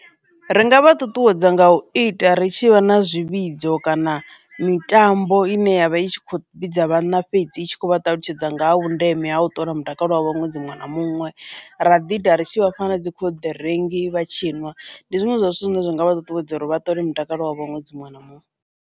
Ri nga vha ṱuṱuwedza nga u ita ri tshi vha na zwivhidzo kana mitambo ine yavha i tshi kho vhidza vhanna fhedzi itshi kho vha ṱalutshedza nga ha vhundeme ha u ṱola mutakalo wavho nwedzi muṅwe na muṅwe, ra ḓi ita ri tshi vha fha dzi khoḓiringi vha tshiniwa ndi zwiṅwe zwa zwithu zwine zwa nga vha ṱuṱuwedza uri vha ṱole mutakalo wavho ṅwedzi muṅwe na muṅwe.